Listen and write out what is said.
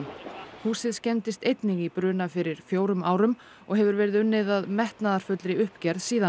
húsið skemmdist einnig í bruna fyrir fjórum árum og hefur verið unnið að metnaðarfullri uppgerð síðan